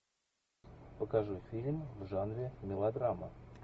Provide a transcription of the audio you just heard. покажи фильм в жанре мелодрама